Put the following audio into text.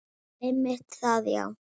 Einmitt það, já.